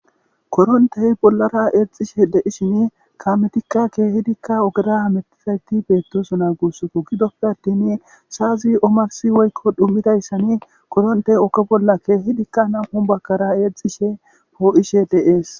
Korrontey bollara exishe de'ishin kametika kehidika ogera hamutizayti betosona gussako gidope attini sa'azi omarssin/dhumidaysa koronte oge bolla kezidika nam'u bagara exishe po'eshe de'es